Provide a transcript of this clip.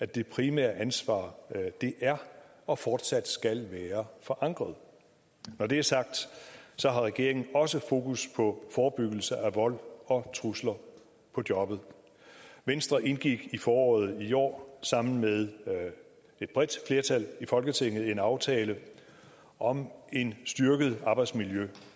det primære ansvar er og fortsat skal være forankret når det er sagt har regeringen også fokus på forebyggelse af vold og trusler på jobbet venstre indgik i foråret i år sammen med et bredt flertal i folketinget en aftale om en styrket arbejdsmiljøindsats